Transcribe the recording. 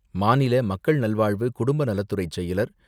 மாநில மக்கள் நல்வாழ்வு குடும்பநலத்துறை செயலர்,